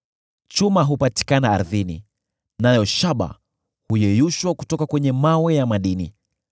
Chuma hupatikana ardhini, nayo shaba huyeyushwa kutoka mawe ya madini.